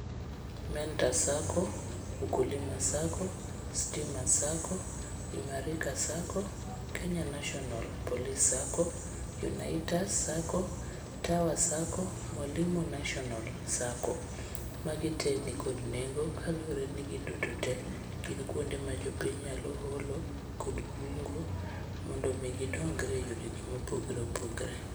Mentor sacco, ukulima sacco, stima sacco, imarika sacco, kenya national police sacco, unaitas sacco, tower sacco, mwalimu national sacco. Magi te nikod nengo kaluwore ni giduto te gin kuonde ma jopiny nyalo holo kod kungo mondo omi gidongre e yoregi mopogre opogre.